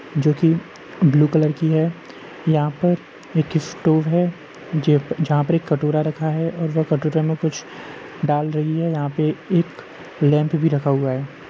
जो की blue colour की है। यहाँ पर एक स्टोर है जो जहाँ पर एक कटोरा रखा है और वह कटोरे मे कुछ डाल रही है। यहाँ पर एक लैम्प भी रखा हुआ है।